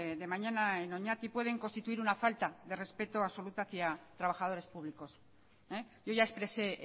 de mañana en oñati pueden constituir una falta de respeto absoluta hacia trabajadores públicos yo ya expresé